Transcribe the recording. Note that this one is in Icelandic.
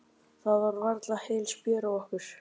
Það var varla heil spjör á okkur.